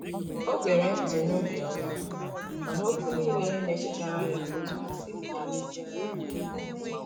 o gere nti n'obioma, mana okwu nile na echetara ya otu ha siri dirizie anya.